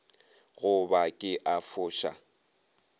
go ba ke a foša